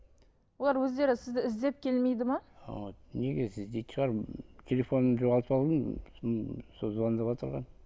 олар өздері сізді іздеп келмейді ме вот неге іздейтін шығар телефонымды жоғалтып алдым сосын сол звондап отырған